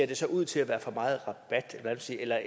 det ser ud til at være for meget rabat